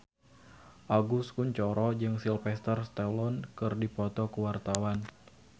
Agus Kuncoro jeung Sylvester Stallone keur dipoto ku wartawan